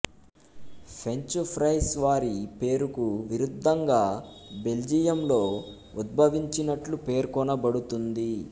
French fries వారి పేరుకు విరుద్ధంగా బెల్జియంలో ఉద్భవించినట్లు పేర్కొనబడుతుంది